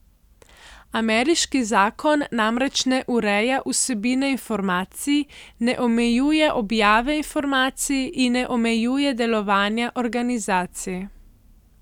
Ameriški zakon namreč ne ureja vsebine informacij, ne omejuje objave informacij in ne omejuje delovanja organizacij.